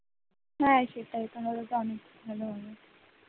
হ্যাঁ সেটাই তা নইলে তো আমি